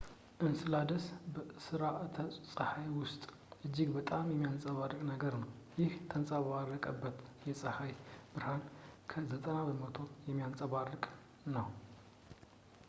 እንስላደስ በስራአተ-ፀሐይ ውስጥ እጅግ በጣም የሚያንፀባርቅ ነገር ነው ፣ ይህም የተንጸባረቀበትን የጸሃይ ብርሃን እስከ 90 በመቶ የሚያንፀባርቅ ነው